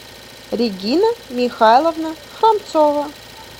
регина михайловна храмцова